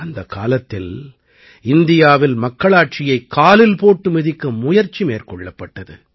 அந்தக் காலத்தில் இந்தியாவில் மக்களாட்சியை காலில் போட்டு மிதிக்க முயற்சி மேற்கொள்ளப்பட்டது